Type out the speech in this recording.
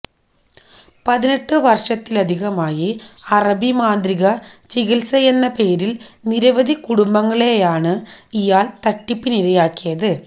പതിനെട്ട് വര്ഷത്തിലധികമായി അറബി മാന്ത്രിക ചികില്സയെന്ന പേരില് നിരവധി കുടുംബങ്ങളെയാണ് ഇയാള് തട്ടിപ്പിനിരയാക്കിയത്